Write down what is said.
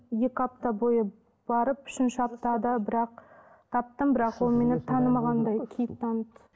екі апта бойы барып үшінші аптада бір ақ таптым бірақ ол мені танымағандай кейіп танытты